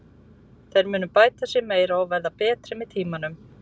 Þeir munu bæta sig meira og verða betri með tímanum.